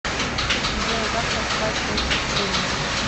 джой как расплачиваться в чили